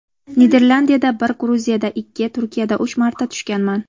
Niderlandiyada bir, Gruziyada ikki, Turkiyada uch marta tushganman.